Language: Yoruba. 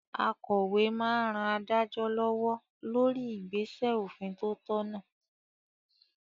Akòwé máa n ran adájọ́ lọ́wọ́ lórí igbesẹ òfin tó tọ̀nà